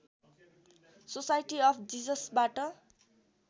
society of जिससबाट